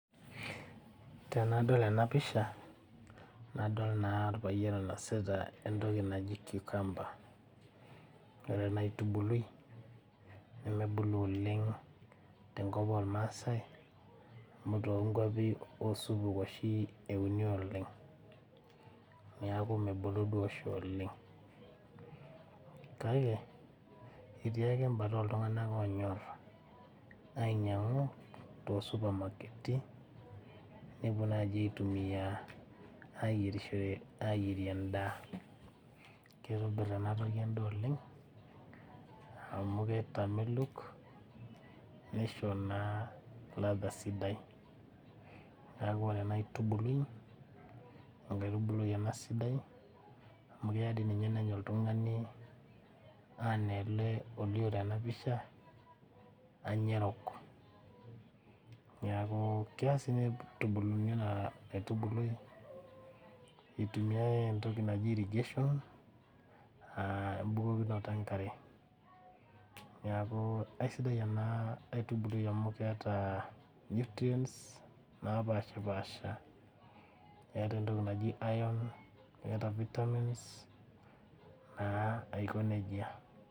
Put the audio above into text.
Tenadol ena pisha nadol naa orpayian oinosita entoki naji kiukamba, ore ena aitubului nemebulu oleng tenkop ormaasai amu toonkwapi osupuki oshi euni oleng, neeku nebulu duo oleng, kake etii ake embata oltunganak oonyor ainyangu toosupamaketi nepuo aitumiyia ayierie endaa. keitobir ena toki endaa oleng amu kitamelok nishori naa latha sidai ,neeku ore enkaitubuli enkaitubuli sidai amu keyau dei ninye nenya oltungani ana ele olio tena pisha anya erok, neeku kea siininye neitumiyae ena aitubului eitumiyia entoki naji irigation embukokinoto enkare neeku eisidai ena aitubului amu keeta nutrients naapashipasha eeta entoki naji iron eeta vitamins naa aiko nejia.